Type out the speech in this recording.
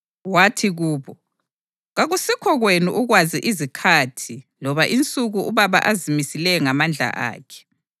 Wathi kubo: “Kakusikho kwenu ukwazi izikhathi loba insuku uBaba azimisileyo ngamandla akhe.